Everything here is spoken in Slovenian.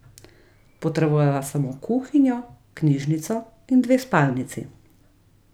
Potrebujeva samo kuhinjo, knjižnico in dve spalnici.